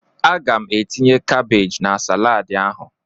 Aga m etinye kabaj na salaadi ahụ.